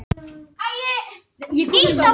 Ísold